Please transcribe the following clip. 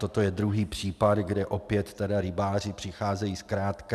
Toto je druhý případ, kde opět rybáři přicházejí zkrátka.